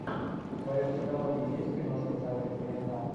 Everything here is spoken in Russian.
в твоем каталоге есть киношка в жанре криминал